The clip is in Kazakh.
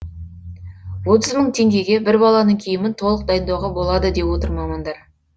отыз мың теңгеге бір баланың киімін толық дайындауға болады деп отыр мамандар